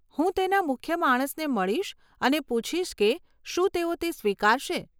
હું તેના મુખ્ય માણસને મળીશ અને પૂછીશ કે શું તેઓ તે સ્વીકારશે.